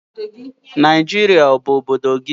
Naijiria ọ bụ obodo gị?